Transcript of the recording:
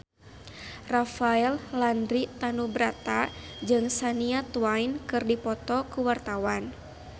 Rafael Landry Tanubrata jeung Shania Twain keur dipoto ku wartawan